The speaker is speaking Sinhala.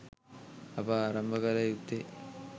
අප ආරම්භ කල යුත්තේ